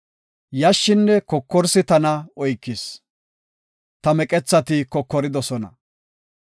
yashshinne kokorsi tana oykis; ta meqethati kokoridosona.